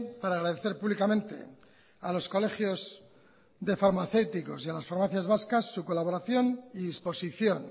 para agradecer públicamente a los colegios de farmacéuticos y a las farmacias vascas su colaboración y disposición